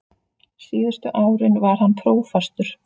Síðustu árin var hann prófastur.